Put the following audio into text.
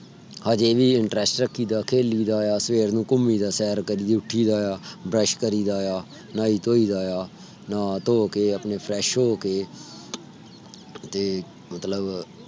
ਹਜੇ ਵੀ interest ਰੱਖੀ ਦਾ ਆ। ਖੇਲੀ ਦਾ ਆ। ਸਵੇਰ ਨੂੰ ਘੁਮਿ ਦਾ ਆ। ਸੈਰ ਕਰਿ ਦਾ ਆ। brush ਕਰਿ ਦਾ ਆ। ਨਾਇ ਧੋਇ ਦਾ ਆ। ਨ੍ਹਾ ਧੋ ਕੇ ਆਪਣੇ fresh ਹੋ ਕੇ ਤੇ ਮਤਲਬ